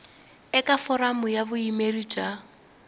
eka foramu ya vuyimeri bya